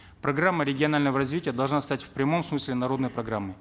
программа рагионального развития должна стать в прямом смысле народной программой